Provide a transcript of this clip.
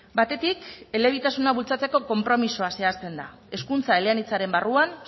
batetik elebitasuna bultzatzeko konpromisoa zehazten da hezkuntza eleanitzaren barruan